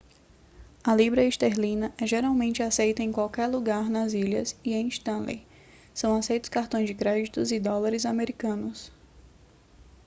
a libra esterlina é geralmente aceita em qualquer lugar nas ilhas e em stanley são aceitos cartões de crédito e dólares americanos